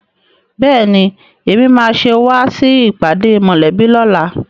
Bẹ́ẹ̀ni, Èmi máa ṣe wá sí ìpàdé mòlẹ́bí lóla